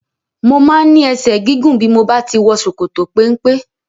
Mo máa ń ní ẹsẹ̀ gígùn bí mo bá ti wọ ṣòkòtò-peńpe.